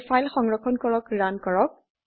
এতিয়া ফাইল সংৰক্ষণ কৰি ৰান কৰক